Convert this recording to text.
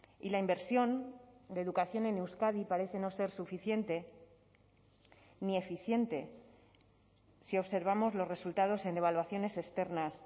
y la inversión de educación en euskadi parece no ser suficiente ni eficiente si observamos los resultados en evaluaciones externas